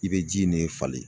I bɛ ji in ne falen